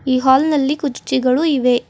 ಈ ಹಾಲ್ ನಲ್ಲಿ ಕುರ್ಚಿಗಳು ಇವೆ.